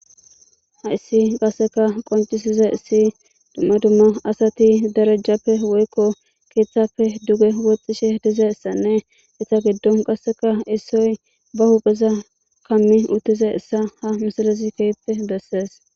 Ha issi qasseka qoncisiza issi dumma dumma asati darajjappe woykko keeththafe duge huwexishe diza issanne issa giddon qasseka issoy ba huqeza kammi uttiza issa ha misalezi keyppe bessees.